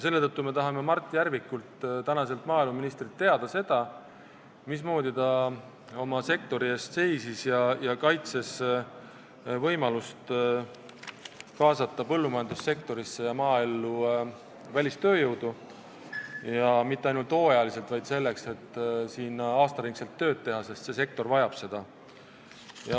Seetõttu me tahame Mart Järvikult, praeguselt maaeluministrilt, teada saada, mismoodi ta oma sektori eest seisis ja kuidas kaitses võimalust kaasata põllumajandussektorisse ja üldse maaellu välistööjõudu, ja mitte ainult hooajaliselt, vaid selleks, et saadaks siin aasta ringi tööd teha, sest see sektor vajab seda.